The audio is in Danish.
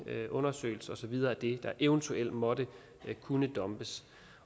undersøgelser og så videre af det der eventuelt måtte kunne dumpes